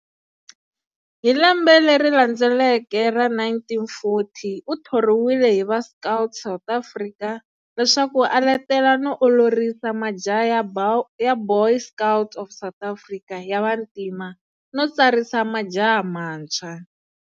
Hi lembe leri landzeleke ra 1940, uthoriwile hi va"Scout South Africa", leswaku a letela no olorisa majaha ya"Boy Scouts of South Africa", ya vantima, no tsarisa majaha mantshwa.